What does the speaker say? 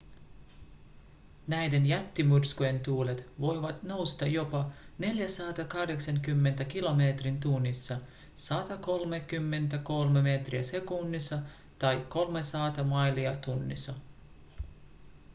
näiden jättimyrskyjen tuulet voivat nousta jopa 480 kilometriin tunnissa 133 metriä sekunnissa tai 300 mailia tunnissa